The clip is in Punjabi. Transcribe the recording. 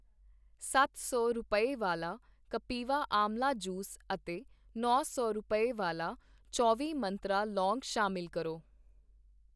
ਸੱਤ ਸੌ ਰੁਪਏ, ਵਾਲਾ ਕਪਿਵਾ ਆਂਵਲਾ ਜੂਸ ਅਤੇ ਨੌਂ ਸੌ ਰੁਪਏ, ਵਾਲਾ ਚੌਵੀ ਮੰਤਰਾ ਲੌਂਗ ਸ਼ਾਮਿਲ ਕਰੋ